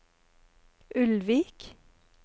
Ulvik